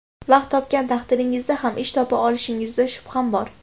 Vaqt topgan taqdiringizda ham ish topa olishingizda shubham bor.